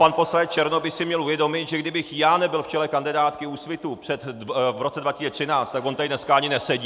Pan poslanec Černoch by si měl uvědomit, že kdybych já nebyl v čele kandidátky Úsvitu v roce 2013, tak on tady dneska ani nesedí!